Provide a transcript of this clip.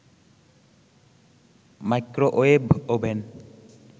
microwave oven